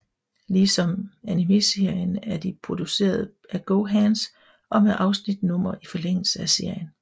Ligesom animeserien er de produceret af GoHands og med afsnitsnumre i forlængelse af serien